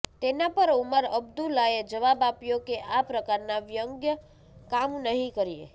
તેના પર ઉમર અબ્દુલાએ જવાબ આપ્યો કે આ પ્રકારના વ્યંગ્ય કામ નહીં કરીએ